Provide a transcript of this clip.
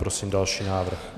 Prosím další návrh.